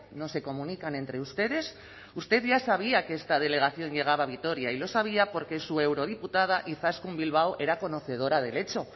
no se comunican entre ustedes usted ya sabía que esta delegación llegaba a vitoria y lo sabía porque su eurodiputada izaskun bilbao era conocedora del hecho